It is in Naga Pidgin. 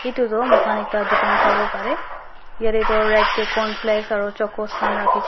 itu toh mohan ekta dukan sawo parey yeti toh red teh cornflakes aro chocos khan rakhi ken--